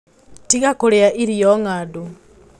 Tiga kũrĩa irio ngandu